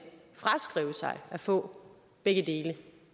fraskrive sig at få begge dele